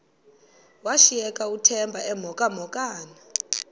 washiyeka uthemba emhokamhokana